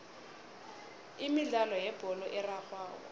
imidlalo yebholo erarhwako